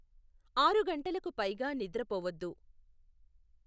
ఆరు గంటలకు పైగా నిద్ర పోవద్దు.